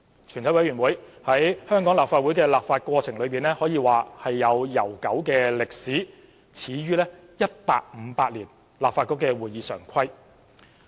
全委會在香港立法會的立法過程中有悠久的歷史，始於1858年立法局的《會議常規》。